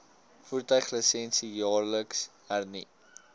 voertuiglisensie jaarliks hernu